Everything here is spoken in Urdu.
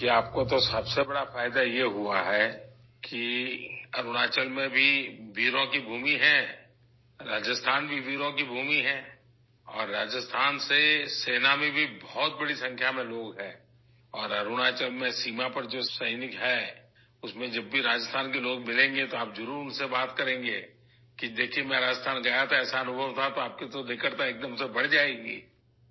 دیکھیں، آپ کو سب سے بڑا فائدہ یہ ہوا ہے کہ اروناچل بھی بہادروں کی سرزمین ہے، راجستھان بھی بہادروں کی سرزمین ہے اور فوج میں راجستھان کے لوگ بڑی تعداد میں ہیں اور اروناچل میں سرحد پر جو فوجی ہیں ، اُن میں جب بھی راجستھان کے لوگ ملیں گے تو آپ ضرور ، اُن سے بات کریں گے کہ دیکھیے ، میں راجستھان گیا تھا، تو ایسا تجربہ تھا ، تو آپ کی قربت ایکدم سے بڑھ جائے گی